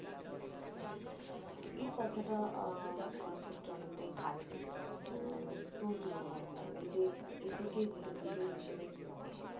এই কথাটা আহ আমার ক্ষেত্রে অনেকটাই খাটে তহ তোর কি মনে হয় মানে নিজের নিজেকে নিজের হিসেবে কি মনে হয়